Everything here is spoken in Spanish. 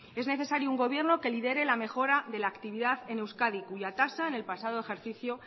es necesario un gobierno que lidere la mejora de la actividad en euskadi cuya tasa en el pasado ejercicio